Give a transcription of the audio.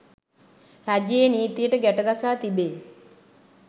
රජයේ නීතියට ගැටගසා තිබේ